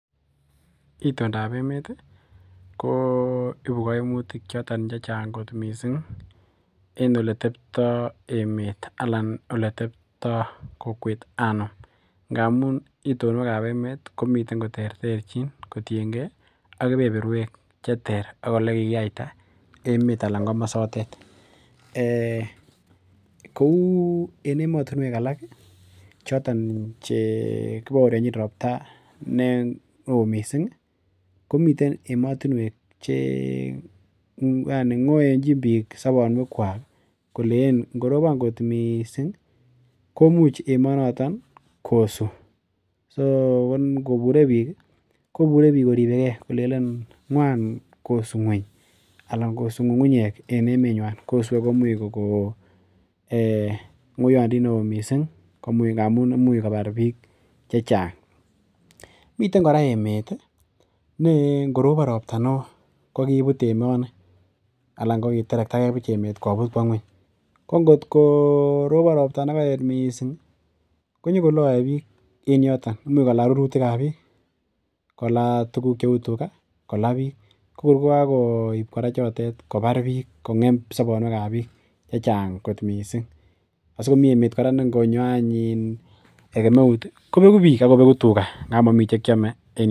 Itondap emet ko ipu kaimutik choton che chang' kot missing' en ole teptai emet anan ole teptai kokwet amun itondap emet komiten koterterchin kotiengei ak kepeprwek che ter ak ole kikiaita emet anan komasotet. Kou en emstunwek alak chotok che kipaorchin ropta ne oo missing' komitei ematunwek che ng'oenchik piik sapanwekwak koleen ngorop angot missing' komuch emanotok kosu. So ngopure piik, kopure piik koripe gei kolelen ng'wany kosu ng'uny. Ang' ko suu ng'ung'unyek en emewa kosue komuch kokon ng'oyandit ne oo missing' amu imuchi kopar piik che chang'. Miten kpra emet ne ngoropon ropta ne oo ko kiiput emani alan kokiterekta emet koput kowa ng'uny. Ko ngot ko ropon ropta ne kaet missing' ko nyu kolae piik en yotok. Imuchi kola rurutik ap piik, kola tuguk che u tuga, kola piik. Ko kor kokakoip chotet kopar piik ,kong'em sapanwekap piik che chang' kot missing'. Asikomi emet kora ne ngo nyo any kemeut kopeku piik ak kopetu tuga nga mami anyun che kiame.